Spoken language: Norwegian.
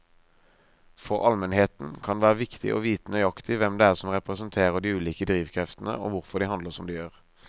For allmennheten kan det være viktig å vite nøyaktig hvem det er som representerer de ulike drivkreftene og hvorfor de handler som de gjør.